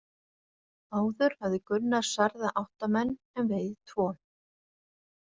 Áður hafði Gunnar særða átta menn en vegið tvo.